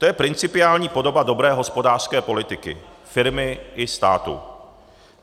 To je principiální podoba dobré hospodářské politiky firmy i státu.